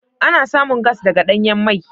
Ana samun gas daga danyan mai.